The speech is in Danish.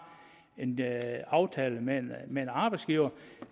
en aftale med en arbejdsgiver